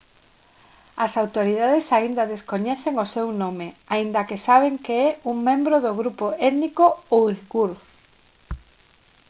as autoridades aínda descoñecen o seu nome aínda que saben que é un membro do grupo étnico uighur